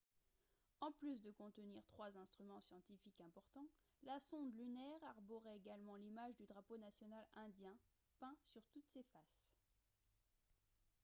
en plus de contenir trois instruments scientifiques importants la sonde lunaire arborait également l'image du drapeau national indien peint sur toutes ses faces